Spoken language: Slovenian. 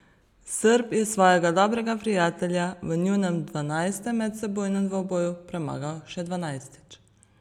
Srb je svojega dobrega prijatelja v njunem dvanajstem medsebojnem dvoboju premagal še dvanajstič.